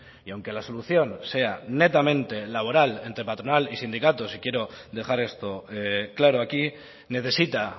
y aunque la solución sea netamente laboral entre patronal y sindicatos y quiero dejar esto claro aquí necesita